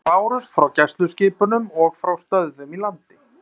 Þau bárust frá gæsluskipunum og frá stöðvum í landi.